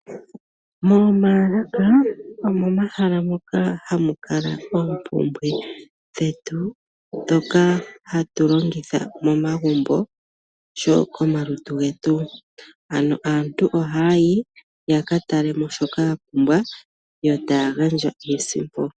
Moomaalaka omomahala moka hamu kala iipumbiwa yetu mbyoka hatu longitha momagumbo oshowo komalutu getu, ano aantu ohaa yi ya ka tale mo shoka ya pumbwa yo taya gandja iisimpo.